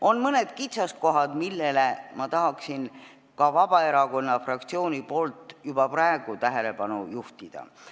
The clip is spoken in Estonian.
On mõned kitsaskohad, millele ma tahan ka Vabaerakonna fraktsiooni nimel juba praegu tähelepanu juhtida.